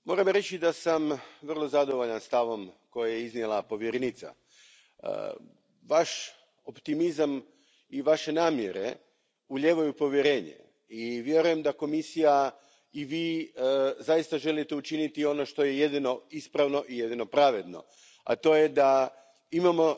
Poštovani predsjedavajući, moram reći da sam vrlo zadovoljan stavom koji je iznijela povjerenica. Vaš optimizam i vaše namjere ulijevaju povjerenje i vjerujem da Komisija i vi zaista želite učiniti ono što je jedino ispravno i jedino pravedno, a to je da imamo